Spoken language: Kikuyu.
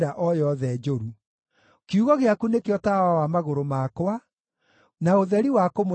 Kiugo gĩaku nĩkĩo tawa wa magũrũ makwa, na ũtheri wa kũmũrĩka njĩra yakwa.